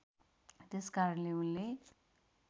त्यसकारणले उनले